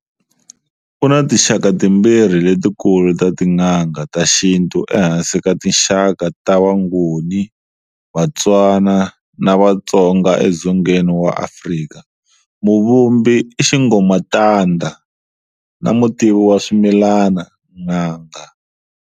Ku na tinxaka timbirhi letikulu ta tin'anga ta xintu ehansi ka tinxaka ta Vangoni, Vatswana na Vatsonga eDzongeni wa Afrika-muvumbi, i xigomatanda, na mutivi wa swimilana, n'anga.